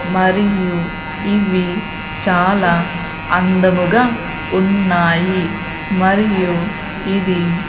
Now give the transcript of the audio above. మరియు ఇవి చాలా అందముగా ఉన్నాయి మరియు ఇది--